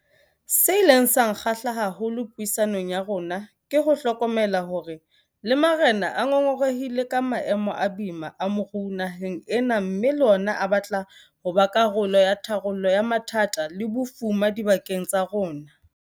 Se ileng sa nkgahla haholo puisanong ya rona ke ho hlokomela hore le marena a ngongorehile ka maemo a boima a moruo naheng ena mme le ona a batla ho ba karolo ya tharollo ya mathata le bofuma dibakeng tsa ona.